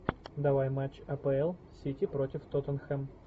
давай матч апл сити против тоттенхэм